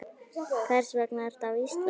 Hvers vegna ertu á Íslandi?